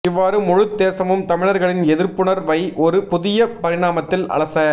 இவ்வாறு முழுத் தேசமும் தமிழர்களின் எதிர்ப்புணர்வை ஒரு புதிய பரிணாமத்தில் அலச